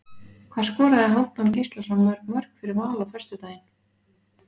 Hvað skoraði Hálfdán Gíslason mörg mörk fyrir Val á föstudaginn?